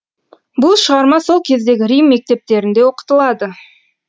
бұл шығарма сол кездегі рим мектептерінде оқытылады